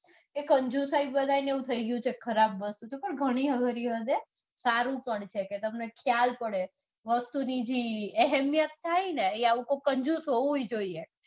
એ કંજુસાઈ થઇ ગયું છે. ખરાબ વસ્તુ તો પણ ઘણી વાર એવું થતું હશે. સારું પણ છે કે તમને ખ્યાલ પડે. વસ્તુની જે અહીમીયત થાયને એ આવું કોક કંજૂસ હોવું જ જોઈએ.